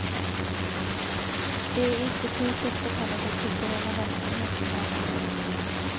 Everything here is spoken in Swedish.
Det är institutets så kallade kulturella verksamhet som drabbas.